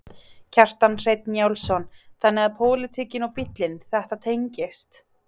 Kjartan Hreinn Njálsson: Þannig að pólitíkin og bílinn, þetta tengist?